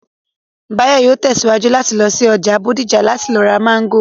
Báyọ̀ yóò tẹ̀síwájú láti lọ sí ọjà Bódìjà láti lọ ra Máńgò